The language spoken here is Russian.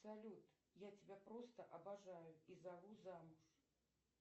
салют я тебя просто обожаю и зову замуж